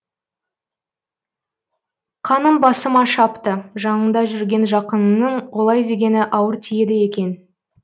қаным басыма шапты жаныңда жүрген жақыныңның олай дегені ауыр тиеді екен